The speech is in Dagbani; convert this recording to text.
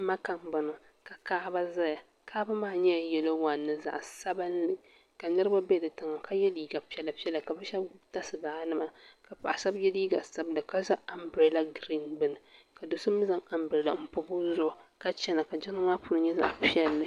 Maka n bɔŋo ka kaɣaba zaya kaɣaba maa nyɛla yɛlo wan ni zaɣa sabinli ka niriba bɛ di tiŋa ka yɛ liiga piɛla piɛla ka bi shɛba gbubi tasibaha nima ka paɣa shɛba yɛ liiga sabinli ka zaŋ ambirela giriin gbubi ka doo so mi ambirela n bɔbi o zuɣu ka chana ka jiŋli maa puuni nyɛ zaɣa piɛlli.